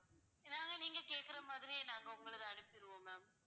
இதெல்லாம் நீங்க கேக்குற மாதிரியே நாங்க உங்களுக்கு அனுப்பிருவோம் ma'am